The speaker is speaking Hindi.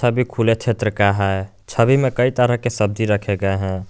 छवि खुले क्षेत्र की है छवि में कई तरह की सब्जी रखी गए हैं।